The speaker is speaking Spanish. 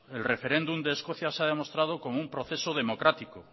el referéndum de escocia se ha demostrado como un proceso democrático